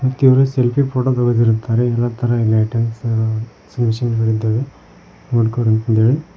ಇವರು selfie photo ತೆಗೆದಿರುತ್ತಾರೆ ಎಲ್ಲ ತರ ಲೈಟಿಂಗ್ಸ್ ಮಿಷಿನ್ ಗಳಿದ್ದಾವೆ .